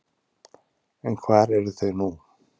En hvar eru þau nú?